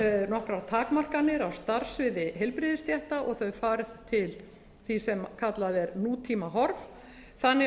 nokkrar takmarkanir á starfssviði heilbrigðisstétta og þau færð til þess sem kallað er nútímahorf þannig að